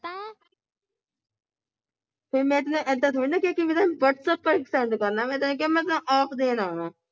ਫਿਰ ਮੈਂ ਤੈਨੂੰ ਇੱਦਾਂ ਥੋੜੀ ਨਾ ਕਿਹਾ ਕਿ whatsapp ਪਰ send ਕਰਨਾ ਮੈਂ ਤੈਨੂੰ ਕਿਹਾ ਮੈਂ ਤਾਂ ਆਪ ਦੇਣ ਆਵਾਂ ।